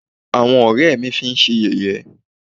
àwọn ọ̀rẹ́ ẹ́ mí fi ṣé yẹ̀yẹ́.